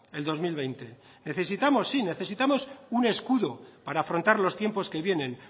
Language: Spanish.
el dos mil veinte necesitamos sí necesitamos un escudo para afrontar los tiempos que vienen